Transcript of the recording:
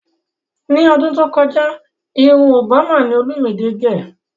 Ní ọdún tó kọjá irun Òbámà ni olúmidé gẹ̀